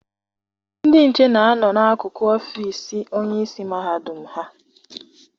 Ndị nche na-a nọ n'akụkụ ọfịịsi onyeisi mahadum ha.